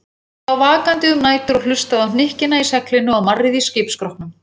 Hann lá vakandi um nætur og hlustaði á hnykkina í seglinu og marrið í skipsskrokknum.